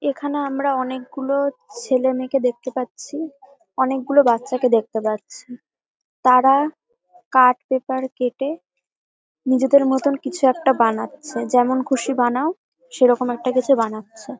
এখানে আমরা অনেক গুলো ছেলে মেয়ে কে দেখতে পাচ্ছি অনেক গুলো বাচ্চাকে দেখতে পাচ্ছি তারা কার্ড পেপার কেটে নিজেদেরমতো কিছু একটা বানাচ্ছে যেমন খুশি বানাও সেরকম কিছু একটা বানাচ্ছে।